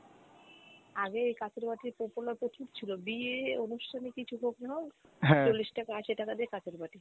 আগে এই কাঁচের বাটির popular প্রচুর ছিল বিয়ে অনুষ্ঠানে কিছু হোক না হোক চল্লিশ টাকা আশি টাকা দিয়ে কাঁচের বাটি।